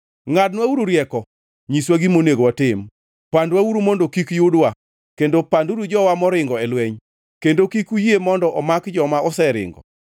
“Ngʼadnwauru rieko, nyiswa gima onego watim. Pandwauru mondo kik yudwa kendo panduru jowa moringo lweny, kendo kik uyie mondo omaki joma oseringo.